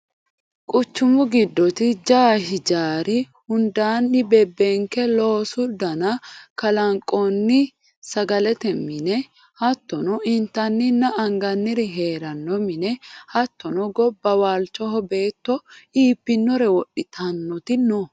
Quchumu giddoti jawu hijaari hundanni bebbenke loosu dana kalanqonni sagalete mine hattono intanninna anganniri heerano mine hattono gobba waalchoho beetto iibbinore wodhittanoti no.